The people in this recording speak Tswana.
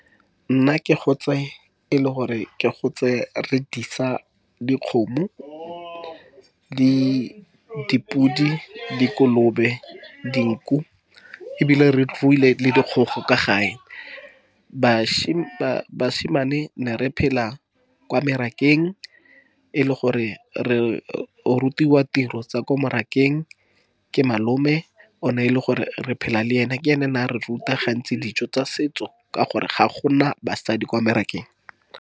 Nna ke go tswe e le gore ke gotse re disa dikgomo, di dipodi, dikolobe, dinku, ebile re ruile le dikgogo ka gae. Basimane ne re phela kwa merakeng, e le gore re rutiwa tiro tsa kwa mmarakeng ke malome, o neng e le gore re phela le ene, ke ene o ne a re ruta gantsi dijo tsa setso. Ka gore ga go na basadi kwa merakeng.